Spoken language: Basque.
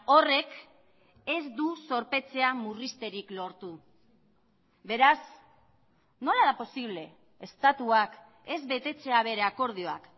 horrek ez du zorpetzea murrizterik lortu beraz nola da posible estatuak ez betetzea bere akordioak